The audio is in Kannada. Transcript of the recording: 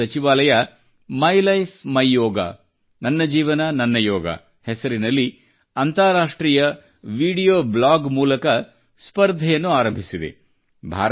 ಆಯುಷ್ ಸಚಿವಾಲಯವು ಮೈ ಲೈಫ್ ಮೈಯೋಗ ಹೆಸರಿನಲ್ಲಿ ಅಂತಾರಾಷ್ಟ್ರೀಯ ವಿಡಿಯೋ ಬ್ಲಾಗ್ ಮೂಲಕ ಸ್ಪರ್ಧೆಯನ್ನು ಆರಂಭಿಸಿದೆ